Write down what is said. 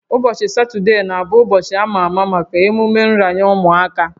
Ụbọchị Sọnde na-abụ ụbọchị a ma ama maka emume nranye ụmụaka